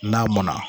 N'a mɔnna